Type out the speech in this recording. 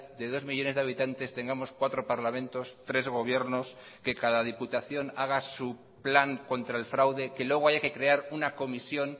de dos millónes de habitantes tengamos cuatro parlamentos tres gobiernos que cada diputación haga su plan contra el fraude que luego haya que crear una comisión